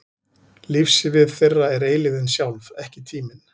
Lífssvið þeirra er eilífðin sjálf, ekki tíminn.